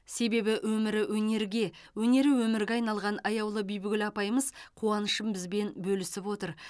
себебі өмірі өнерге өнері өмірге айналған аяулы бибігүл апайымыз қуанышын бізбен бөлісіп отыр